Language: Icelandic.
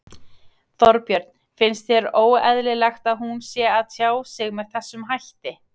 Þorbjörn: Finnst þér óeðlilegt að hún sé að tjá sig með þessum hætti?